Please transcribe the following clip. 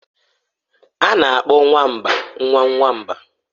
A na-akpọ nwamba nwa nwamba.